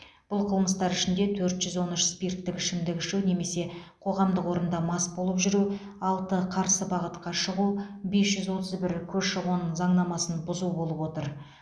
бұл қылмыстар ішінде төрт жүз он үш спирттік ішімдік ішу немесе қоғамдық орында мас болып жүру алты қарсы бағытқа шығу бес жүз отыз бір көші қон заңнамасын бұзу болып отыр